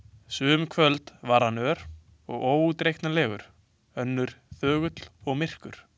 Sum kvöld var hann ör og óútreiknanlegur, önnur þögull og myrkur.